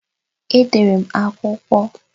Edere m akwụkwọ.